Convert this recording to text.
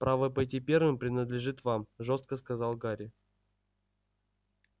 право пойти первым принадлежит вам жёстко сказал гарри